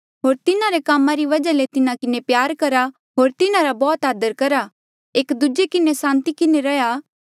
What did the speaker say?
होर तिन्हारे कामा रे वजहा ले तिन्हा किन्हें प्यारा करहा होर तिन्हारा बौह्त आदर करहा एक दूजे किन्हें सांति किन्हें रैहया